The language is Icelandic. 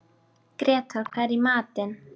Grétar, hvað er í matinn?